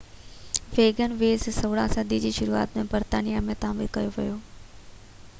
wagon ويز 16 صدي جي شروعات ۾ برطانيا ۾ تعمير ڪيو ويو